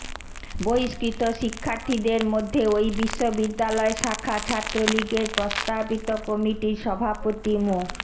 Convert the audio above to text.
বহিষ্কৃত শিক্ষার্থীদের মধ্যে ওই বিশ্ববিদ্যালয় শাখা ছাত্রলীগের প্রস্তাবিত কমিটির সভাপতি মো